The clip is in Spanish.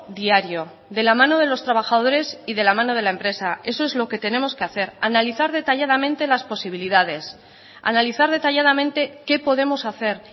diario de la mano de los trabajadores y de la mano de la empresa eso es lo que tenemos que hacer analizar detalladamente las posibilidades analizar detalladamente qué podemos hacer